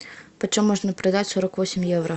почем можно продать сорок восемь евро